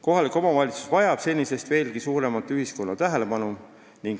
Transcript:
Kohalik omavalitsus vajab senisest veelgi suuremat ühiskonna tähelepanu.